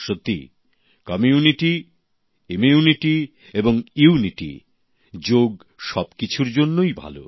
সত্যিই community immunity এবং unity যোগ সবকিছুর জন্যই ভালো